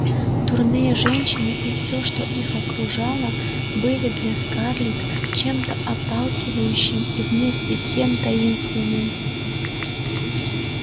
дурные женщины и всё что их окружало были для скарлетт чем-то отталкивающим и вместе с тем таинственным